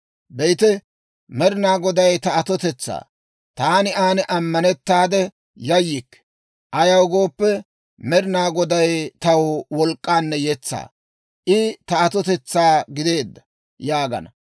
«Be'ite, Med'inaa Goday ta atotetsaa; taani aan ammanettaade, yayyikke. Ayaw gooppe, Med'inaa Goday, taw wolk'k'anne yetsaa. I ta atotetsaa gideedda» yaagana.